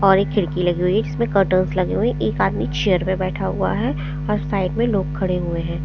और एक खिड़की लगी हुई है जिसमें कर्टन्स लगे हुए हैं एक आदमी चेयर पे बैठा हुआ है और साइड में लोग खड़े हुए हैं।